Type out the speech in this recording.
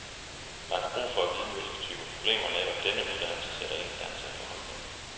Man har brug for at vide, hvilke typer problemer netop denne uddannelse sætter en i stand til at få hold på.